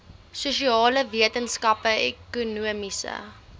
sosiale wetenskappe ekonomiese